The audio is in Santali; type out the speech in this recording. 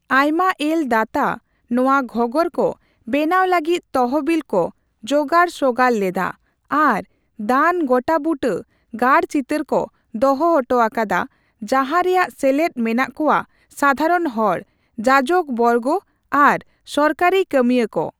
ᱟᱭᱢᱟᱮᱞ ᱫᱟᱛᱟ ᱱᱚᱣᱟ ᱜᱷᱚᱸᱜᱚᱨ ᱠᱚ ᱵᱮᱱᱟᱣ ᱞᱟᱹᱜᱤᱫ ᱛᱚᱦᱚᱵᱤᱞ ᱠᱚ ᱡᱚᱜᱟᱲᱼᱥᱚᱜᱟᱲ ᱞᱮᱫᱟ ᱟᱨ ᱫᱟᱱ ᱜᱚᱴᱟᱵᱩᱴᱟᱹ ᱜᱟᱨᱪᱤᱛᱟᱹᱨ ᱠᱚ ᱫᱚᱦᱚ ᱦᱚᱴᱚ ᱟᱠᱟᱫᱟ ᱡᱟᱦᱟᱨᱮᱭᱟᱜ ᱥᱮᱞᱮᱫ ᱢᱮᱱᱟᱜ ᱠᱚᱣᱟ ᱥᱟᱫᱷᱟᱨᱚᱱ ᱦᱚᱲ, ᱡᱟᱡᱚᱠᱚ ᱵᱚᱨᱜᱚ ᱟᱨ ᱥᱚᱨᱠᱟᱨᱤ ᱠᱟᱹᱢᱤᱭᱟᱹᱠᱚ ᱾